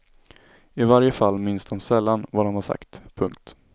I varje fall minns de sällan vad de har sagt. punkt